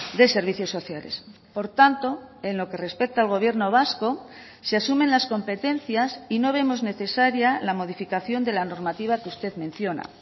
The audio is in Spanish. de servicios sociales por tanto en lo que respecta al gobierno vasco se asumen las competencias y no vemos necesaria la modificación de la normativa que usted menciona